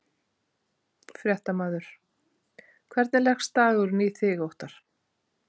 Fréttamaður: Hvernig leggst dagurinn í þig Óttarr?